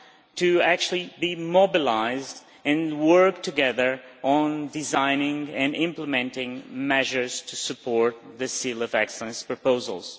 to actually be mobilised and work together on designing and implementing measures to support the Seal of Excellence proposals.